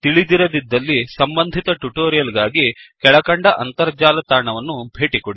ತಿಳಿದಿರದಿದ್ದಲ್ಲಿ ಸಂಬಂಧಿತ ಟ್ಯುಟೋರಿಯಲ್ ಗಾಗಿ ಕೆಳಕಂಡ ಅಂತರ್ಜಾಲ ತಾಣವನ್ನು ಭೇಟಿಕೊಡಿ